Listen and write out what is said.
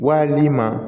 Wali i ma